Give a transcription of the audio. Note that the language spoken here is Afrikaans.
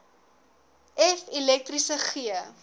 f elektriese g